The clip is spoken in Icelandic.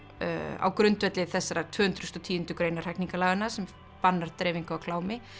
á grundvelli þessarar tvö hundruð og tíundu greinar hegningarlaganna sem bannar dreifingu á klámi